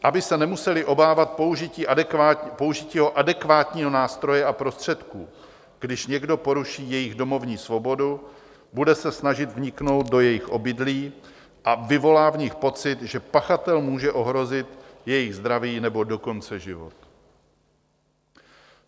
Aby se nemuseli obávat použití adekvátního nástroje a prostředku, když někdo poruší jejich domovní svobodu, bude se snažit vniknout do jejich obydlí a vyvolá v nich pocit, že pachatel může ohrozit jejich zdraví, nebo dokonce život.